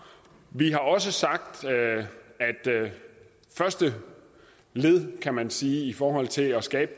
vi har også sagt at første led kan man sige i forhold til at skabe